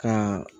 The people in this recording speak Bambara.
Ka